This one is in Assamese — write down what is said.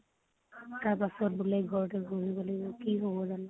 তাৰপিচত বোলে ঘৰতে বহিবলৈ কি হব জানো ?